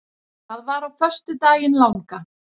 Það var á föstudaginn langa.